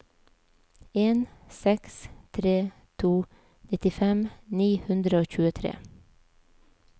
en seks tre to nittifem ni hundre og tjuetre